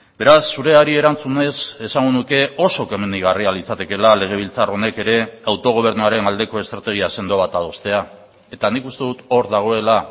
beraz zureari erantzunez esango nuke oso komenigarria litzatekeela legebiltzar honek ere autogobernuaren aldeko estrategia sendo bat adostea eta nik uste dut hor dagoela